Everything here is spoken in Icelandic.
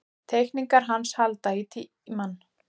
Teikningarnar hans halda í tímann.